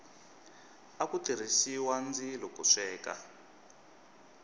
aku tirhisiwa ndzilo ku sweka